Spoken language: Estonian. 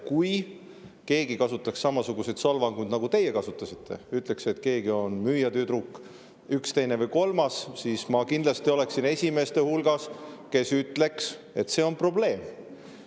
Kui keegi kasutaks samasuguseid solvanguid, nagu teie kasutasite, ütleks, et keegi, üks, teine või kolmas on müüjatüdruk, siis ma kindlasti oleksin esimeste hulgas, kes ütleks, et see on probleem.